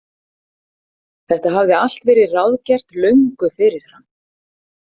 Þetta hafði allt verið ráðgert löngu fyrirfram.